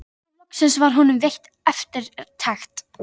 Og nú loksins var honum veitt eftirtekt.